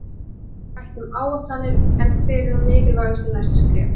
Mikið var rætt um áætlanir en hver eru mikilvægustu næstu skref?